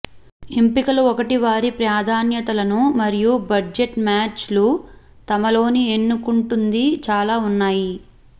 ఎంపికలు ఒకటి వారి ప్రాధాన్యతలను మరియు బడ్జెట్ మ్యాచ్లు తమలోని ఎన్నుకుంటుంది చాలా ఉన్నాయి